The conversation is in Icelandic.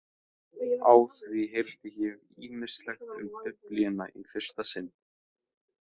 Á því heyrði ég ýmislegt um Biblíuna í fyrsta sinn.